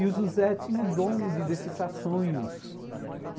E o José tinha o dom de decifrar sonhos.